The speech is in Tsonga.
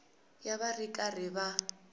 ya va ri karhi va